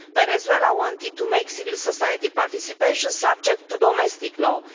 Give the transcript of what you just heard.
Venezuela wanted to make civil society participation subject to domestic law.